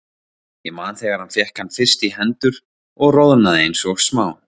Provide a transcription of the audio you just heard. Ég man þegar hann fékk hann fyrst í hendur og roðnaði eins og smá